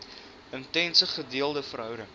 intense gedeelde verhouding